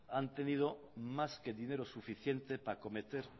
han tenido más que dinero suficiente para cometer